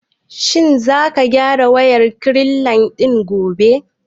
Shin za ka gyara wayar rekline ɗin gobe?